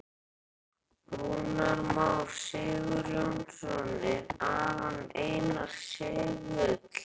Rúnar Már Sigurjónsson: Er Aron Einar segull?